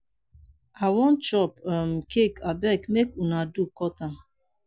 i wan chop um cake abeg make una do cut am.